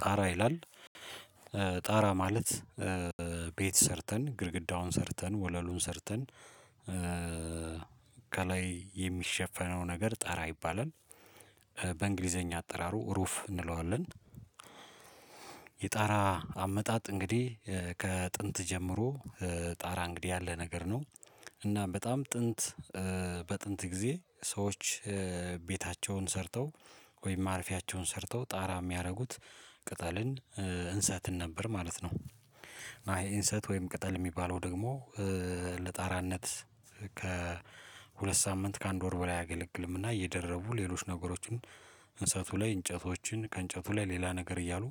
ጣራ ይላል ጣራ ማለት ቤት ሰርተን ግድግዳውን ሰርተን ወለሉን ሰርተን ከላይ የሚሸፈነው ነገር ጠራ ይባላል በእንግሊዘኛ አጠራሩ ሩፍ እንለዋለን። የጣራ አመጣጥ እንግዲህ ከጥንት ጀምሮ ጣራ እንግዲህ ያለ ነገር ነው እና በጣም ጥንት በጥንት ጊዜ ሰዎች ቤታቸውን ሰርተው ወይም ማረፊያቸውን ሰርተው ጣራ የሚያደርጉት ቅጠልን እንሰትን ነበር ማለት ነው። እንሰት አይ ወይም ቅጠል የሚባለው ደግሞ ለጣራነት ከሁለት ሳምንት ከአንድ ወር በላይ አያገለግልም እና እየደረቡ ሌሎች ነገሮችን እንሰቱ ላይ እንጨቶችን ከእንጨቱ ላይ ሌላ ነገር እያሉ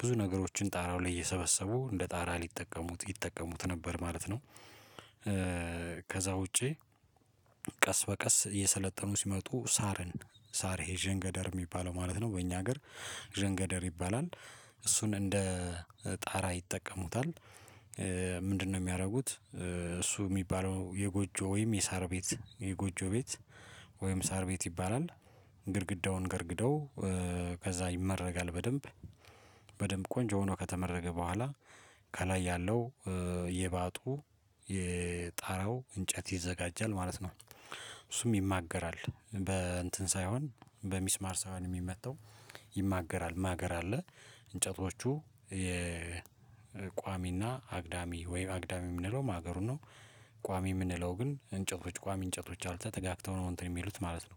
ብዙ ነገሮችን ጣራው ላይ እየሰበሰቡ እንደ ጣራ ሊጠቀሙት ይጠቀሙት ነበር ማለት ነው። ከዛ ውጪ ቀስ በቀስ እየሰለጠኑ ሲመጡ ሳርን ሳር ይሄ ዠንገደር የሚባለው ማለት ነው በእኛ ሀገር ዠንገደር ይባላል እሱን እንደ ጣራ ይጠቀሙታል። ምንድነው የሚያደርጉት እሱ የሚባለው የጎጆ ወይም የሳር ቤት የጎጆ ቤት ወይም ሳር ቤት ይባላል። ግድግዳውን ገርግደው ከዛ ይመረጋል በደንብ በደንብ ቆንጆ ሆኖ ከተመረገ በኋላ ከላይ ያለው የባጡ የጣራው እንጨት ይዘጋጃል ማለት ነው እሱም ይማገራል በ እንትን ሳይሆን በሚስማር ሳይሆን የሚመታው ይማገራል ማገር አለ እንጨቶቹ የቋሚና አግዳሚ ወይ አግዳሚ የምንለው ማገሩ ነው ቋሚ የምንለው ግን እንጨቶች ቋሚ እንጨቶች አሉ ተጠጋግተው ነው እንትን የሚሉት ማለት ነው።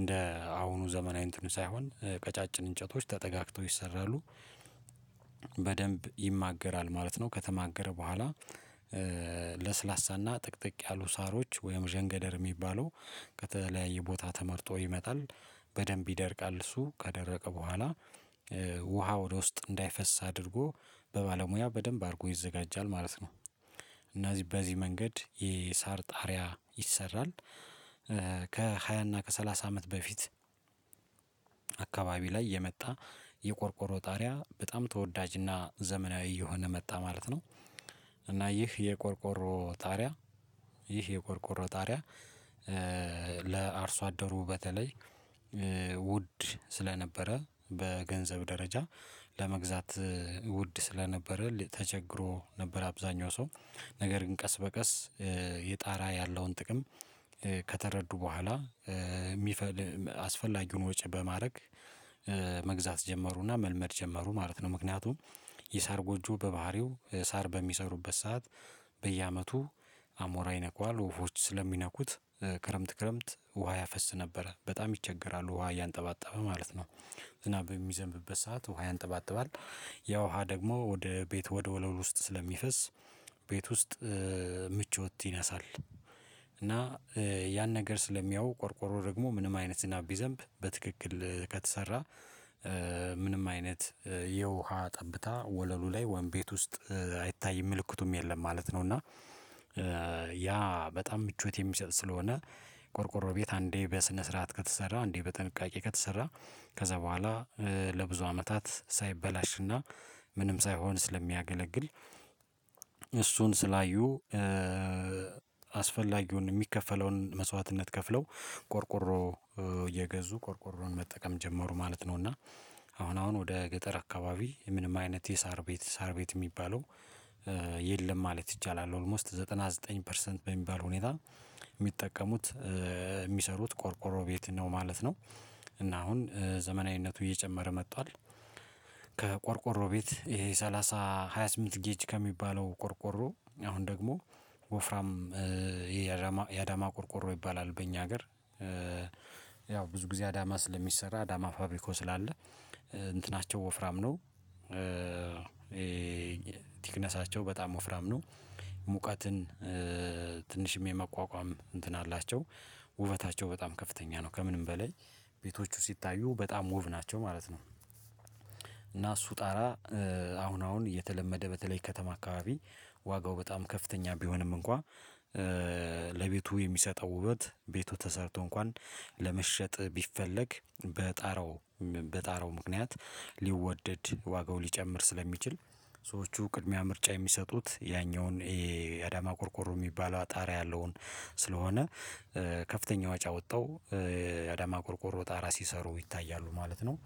እንደ አሁኑ ዘመናዊ እንትኑ ሳይሆን ቀጫጭን እንጨቶች ተጠጋግተው ይሰራሉ። በደንብ ይማገራል ማለት ነው ከተማገረ በኋላ ለስላሳና ጥቅጥቅ ያሉ ሳሮች ወይም ዠንገደር የሚባለው ከተለያየ ቦታ ተመርጦ ይመጣል በደንብ ይደርቃል እሱ ካደረቀ በኋላ ውሃ ወደ ውስጥ እንዳይፈስ አድርጎ በባለሙያ በደንብ አድርጎ ይዘጋጃል ማለት ነው። እና በዚህ መንገድ የሳር ጣሪያ ይሰራል። ከሃያ እና ከሰላሳ አመት በፊት አካባቢ ላይ የመጣ የቆርቆሮ ጣሪያ በጣም ተወዳጅና ዘመናዊ እየሆነ መጣ ማለት ነው። እና ይህ የቆርቆሮ ጣሪያ ይህ የቆርቆሮ ጣሪያ ለአርሶ አደሩ በተለይ ውድ ስለነበረ በገንዘብ ደረጃ ለመግዛት ውድ ስለነበረ ተቸግሮ ነበር አብዛኛው ሰው ነገር ግን ቀስ በቀስ የጣራ ያለውን ጥቅም ከተረዱ በኋላ የሚፈል አስፈላጊውን ወጪ በማድረግ መግዛት ጀመሩና መልመድ ጀመሩ ማለት ነው። ምክንያቱም የሳር ጎጆ በባህሪው ሳር በሚሰሩበት ሰዓት በየአመቱ አሞራ ይነካዋል ወፎች ስለሚነኩት ክረምት ክረምት ውሃ ያፈስ ነበረ በጣም ይቸገራሉ ውሃ እያንጠባጠበ ማለት ነው። ዝናብ የሚዘንብበት ሰዓት ውሃ ያንጠባጥባል ያ ውሃ ደግሞ ወደ ቤት ወደ ወለል ውስጥ ስለሚፈስ ቤት ውስጥ ምቾት ይነሳል። እና ያን ነገር ስለሚያዩ ቆርቆሮ ደግሞ ምንም አይነት ዝናብ ቢዘንብ በትክክል ከተሰራ ምንም አይነት የውሃ ጠብታ ወለሉ ላይ ወይም ቤት ውስጥ አይታይም ምልክቱም የለም ማለት ነው። እና ያ በጣም ምቾት የሚሰጥ ስለሆነ ቆርቆሮ ቤት አንዴ በስነ ስርዓት ከተሰራ አንዴ በጥንቃቄ ከተሰራ ከዛ በኋላ ለብዙ አመታት ሳይበላሽና ምንም ሳይሆን ስለሚያገለግል እሱን ስላዩ አስፈላጊውን የሚከፈለውን መስዋዕትነት ከፍለው ቆርቆሮ እየገዙ ቆርቆሮን መጠቀም ጀመሩ ማለት ነው። እና አሁን አሁን ወደ ገጠር አካባቢ ምንም አይነት የሳር ቤት ሳር ቤት የሚባለው የለም ማለት ይቻላል ኦልሞስት ዘጠና ዘጠኝ ፐርሰንት በሚባል ሁኔታ የሚጠቀሙት የሚሰሩት ቆርቆሮ ቤት ነው ማለት ነው። እና አሁን ዘመናዊነቱ እየጨመረ መጣል ከቆርቆሮ ቤት ይሄ ሰላሳ ሃያ ስምንት ጌጅ ከሚባለው ቆርቆሮ አሁን ደግሞ ወፍራም የአዳማ ቆርቆሮ ይባላል በእኛ ሀገር ያው ብዙ ጊዜ አዳማ ስለሚሰራ አዳማ ፋብሪኮ ስላለ እንትናቸው ወፍራም ነው። ቲክነሳቸው በጣም ወፍራም ነው ሙቀትን ትንሽም የመቋቋም እንትን አላቸው ውበታቸው በጣም ከፍተኛ ነው ከምንም በላይ ቤቶቹ ሲታዩ በጣም ሙብ ናቸው ማለት ነው። እና እሱ ጣራ አሁን አሁን እየተለመደ በተለይ ከተማ አካባቢ ዋጋው በጣም ከፍተኛ ቢሆንም እንኳን ለቤቱ የሚሰጠው ውበት ቤቱ ተሰርቶ እንኳን ለመሸጥ ቢፈለግ በጣራው በጣራው ምክንያት ሊወደድ ዋጋው ሊጨምር ስለሚችል ሰዎቹ ቅድሚያ ምርጫ የሚሰጡት ያኛውን ይሄ አዳማ ኮርኮሮ የሚባለው አጣሪያ ያለውን ስለሆነ ከፍተኛ ወጪ አውጥትው አዳማ ቆርቆሮ ጣራ ሲሰሩ ይታያሉ ማለት ነው።